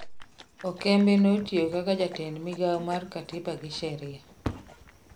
Okembe netiyo kaka jatend migao mar katiba gi sheria